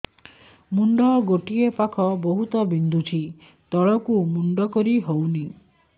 ମୁଣ୍ଡ ଗୋଟିଏ ପାଖ ବହୁତୁ ବିନ୍ଧୁଛି ତଳକୁ ମୁଣ୍ଡ କରି ହଉନି